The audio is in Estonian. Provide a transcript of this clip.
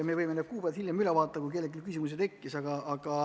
Me võime need kuupäevad hiljem üle vaadata, kui kellelgi küsimusi tekkis.